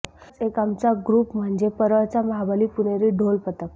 असाच आमचा एक ग्रुप म्हणजे परळचा महाबली पुणेरी ढोल पथक